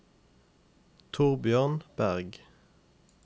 Torbjørn Bergh